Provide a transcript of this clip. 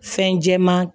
Fɛn jɛman